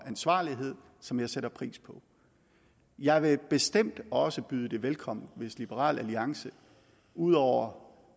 ansvarlighed som jeg sætter pris på jeg vil bestemt også byde det velkommen hvis liberal alliance ud over